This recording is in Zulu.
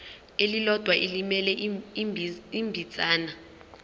elilodwa elimele ibinzana